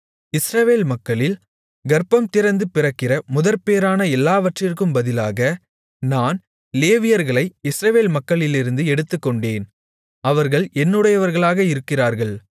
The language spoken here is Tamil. இஸ்ரவேல் மக்களில் கர்ப்பம்திறந்து பிறக்கிற முதற்பேறான எல்லாவற்றிற்கும் பதிலாக நான் லேவியர்களை இஸ்ரவேல் மக்களிலிருந்து எடுத்துக்கொண்டேன் அவர்கள் என்னுடையவர்களாக இருக்கிறார்கள்